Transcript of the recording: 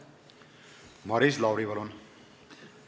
Maris Lauri, palun!